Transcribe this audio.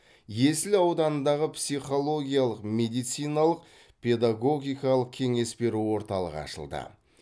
есіл ауданындағы психологиялық медициналық педагогикалық кеңес беру орталығы ашылды